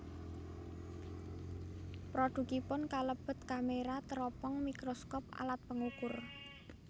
Produkipun kalebet kamera teropong mikroskop alat pengukur